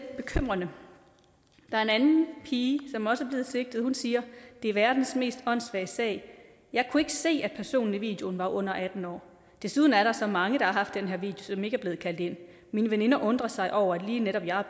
er en anden pige som også er blevet sigtet og hun siger det er verdens mest åndssvage sag jeg kunne ikke se at personerne i videoen var under atten år desuden er der så mange der har haft den her som ikke er blevet kaldt ind mine veninder undrer sig over at lige netop jeg er